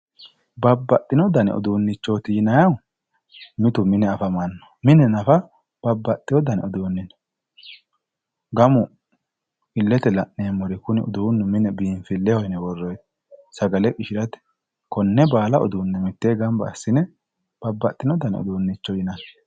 Babbaxxino dani uduunnichooti yinayihu mitu mitu mine afamanno. Mine nafa babbaxxiwo dani uduunni no. Gamu illete la'neemmori kuni uduunnu mine biinfilleho yine worroyiho. Sagale qishirate. Konne baala uduunne. Mittee gamba assine babbaxxino dani uduunnicho yinanni.